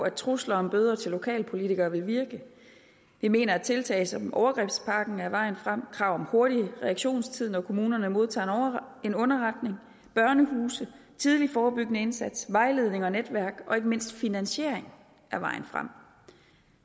at trusler om bøder til lokalpolitikere vil virke vi mener at tiltag som overgrebspakken er vejen frem og at krav om hurtig reaktionstid når kommunerne modtager en underretning børnehuse tidlig forebyggende indsats vejledning og netværk og ikke mindst finansiering er vejen frem